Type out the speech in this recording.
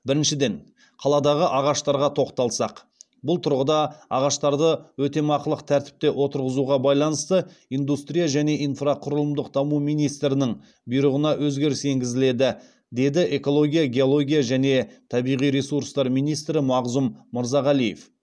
біріншіден қаладағы ағаштарға тоқталсақ бұл тұрғыда ағаштарды өтемақылық тәртіпте отырғызуға байланысты индустрия және инфрақұрылымдық даму министрінің бұйрығына өзгеріс енгізіледі деді экология геология және табиғи ресурстар министрі мағзұм мырзағалиев